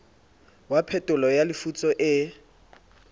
ya phetolo ya lefutso e